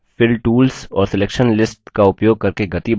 fill tools और selection lists का उपयोग करके गति बढ़ना